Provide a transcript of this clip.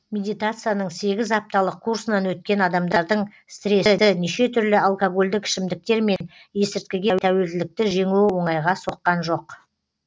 медитацияның сегіз апталық курсынан өткен адамдардың стрессті неше түрлі алкогольдік ішімдіктер мен есірткіге тәуелділікті жеңуі оңайға соққан жоқ